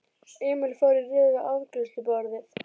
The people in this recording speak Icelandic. Emil fór í röð við afgreiðsluborðið.